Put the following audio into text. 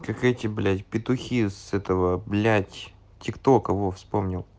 как эти блять петухи с этого блять тик тока во вспомнил